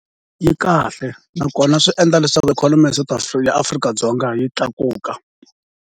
Yi kahle nakona swi endla leswaku ikhonomi ya South Africa, Afrika-Dzonga yi tlakuka.